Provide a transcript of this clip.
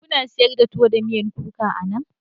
Kuna sayar da tuwo da miyan kuka anan?